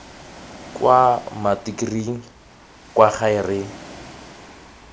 kwa matikiring kwa gae re